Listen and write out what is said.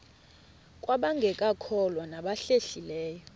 kwabangekakholwa nabahlehli leyo